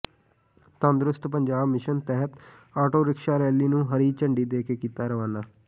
ਤੰਦਰੁਸਤ ਪੰਜਾਬ ਮਿਸ਼ਨ ਤਹਿਤ auto rickshaw rally ਨੂੰ ਹਰੀ ਝੰਡੀ ਦੇ ਕੇ ਕੀਤਾ ਰਵਾਨਾ